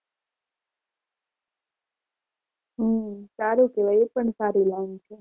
હમ સારું કહેવાય એ પણ સારી લાઈન છે.